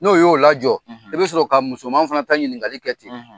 N'o y'o la jɔ. I bɛ sɔrɔ ka musoman fana ta ɲinikali kɛ ten.